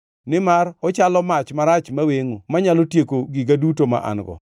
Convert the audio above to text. nimar ochalo mach marach mawengʼo manyalo tieko giga duto ma an-go.